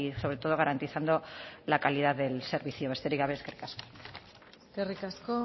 sobre todo garantizando la calidad del servicio besterik gabe eskerrik asko eskerrik asko